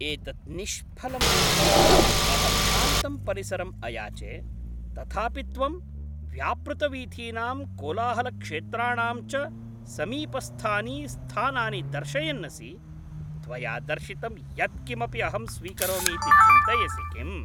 एतत् निष्फलं भाति, अहं शान्तं परिसरम् अयाचे, तथापि त्वं व्यापृतवीथीनां कोलाहलक्षेत्राणां च समीपस्थानि स्थानानि दर्शयन् असि, त्वया दर्शितं यत्किमपि अहं स्वीकरोमि इति चिन्तयसि किम्?